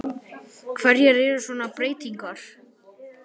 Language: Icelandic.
Hverjar eru svona breytingarnar?